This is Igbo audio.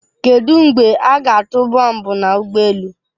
Kedu mgbe a ga-atụ bọmbụ na ụgbọ elu?